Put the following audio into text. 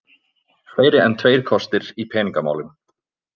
Fleiri en tveir kostir í peningamálum